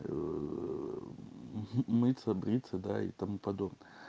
ээ мыться бриться да и тому подобное